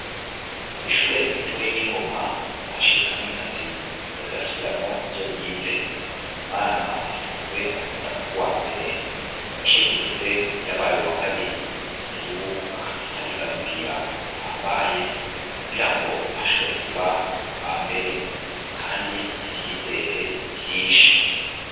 Ishure ritoya ryingoma kamikazi yariko arasubiramwo ivyobize umwana asanzwe akunda kuba uwambere mu gice giheze yabaye uwakabiri ubu akabariko ariga kugira ahambaye kugirango ashobore kuba uwambere kandi ivyizere ni vyinshi